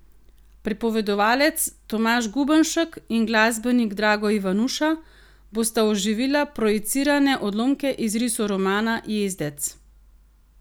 Pripovedovalec Tomaž Gubenšek in glasbenik Drago Ivanuša bosta oživila projicirane odlomke iz risoromana Jezdec.